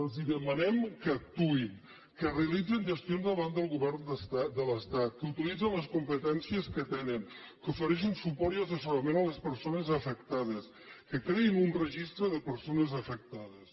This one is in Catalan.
els demanem que actuïn que realitzen gestions davant del govern de l’estat que utilitzen les competències que tenen que ofereixin suport i assessorament a les persones afectades que creïn un registre de persones afectades